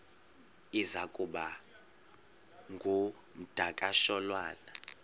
iza kuba ngumdakasholwana